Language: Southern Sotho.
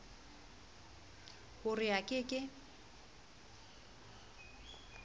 ho re a ke ke